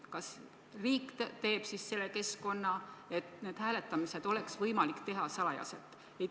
Kas riik teeb siis selle keskkonna, et need hääletamised oleks võimalik teha salajaselt?